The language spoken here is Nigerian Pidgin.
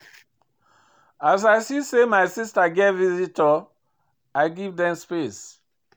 As I see sey my sista get visitor, I give dem space.